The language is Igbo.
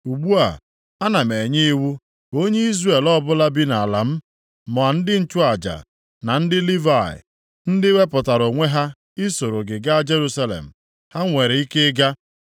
Ugbu a, ana m enye iwu ka onye Izrel ọbụla bi nʼalaeze m, ma ndị nchụaja, na ndị Livayị, ndị wepụtara onwe ha ị soro gị gaa Jerusalem, ha nwere ike ịga.